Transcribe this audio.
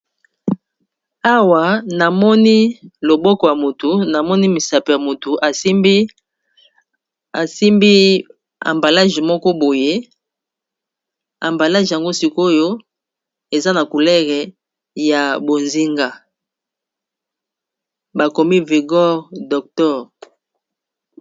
Awa namoni loboko ya motu namoni misapi ya motu asimbi ambalage moko boye ambalage yango sikoyo eza na couleur ya bozinga bakomi vigore dotor